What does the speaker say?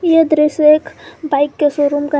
यह दृश्य एक बाइक के शोरूम का है।